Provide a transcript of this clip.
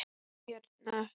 Bíddu hérna.